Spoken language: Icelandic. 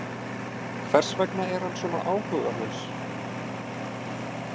Hvers vegna er hann svona áhugalaus?